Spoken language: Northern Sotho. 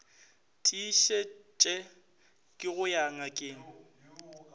tiišetše ke go ya ngakeng